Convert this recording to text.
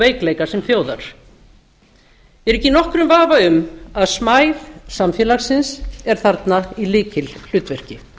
veikleika sem þjóðar ég er ekki í nokkrum vafa um að smæð samfélagsins er þarna í lykilhlutverki